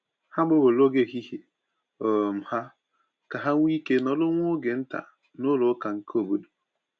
Ha gbanwere oge ehihie um ha ka ha nwee ike nọrọ nwa oge nta n’ụlọ ụka nke obodo.